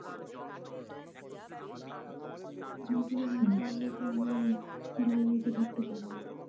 youtube এ গান চালালে তো অমি আর galary তে ঢুকতে পারবো না